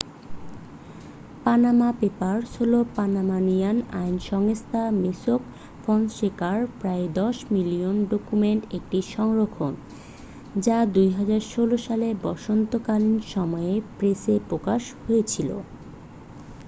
"""Panama papers" হলো পানামানিয়ান আইন সংস্থা মোস্যাক ফনসেকার প্রায় দশ মিলিয়ন ডকুমেন্টের একটি সংরক্ষণ যা 2016 সালে বসন্তকালীন সময়ে প্রেসে প্রকাশ হয়েছিল।